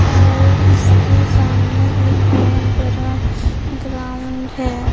और इसके सामने एक बहुत बड़ा ग्राउंड है।